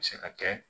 Se ka kɛ